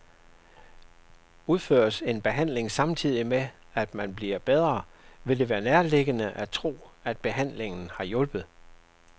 Udføres en behandling samtidig med, at man bliver bedre, vil det være nærliggende at tro, at behandlingen har hjulpet.